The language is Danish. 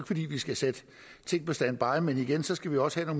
fordi vi skal sætte ting på standby men igen skal vi også have